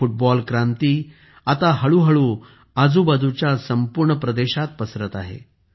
ही football क्रांती आता हळूहळू आजूबाजूच्या संपूर्ण प्रदेशात पसरत आहे